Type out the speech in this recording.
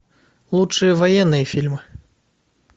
лучшие военные фильмы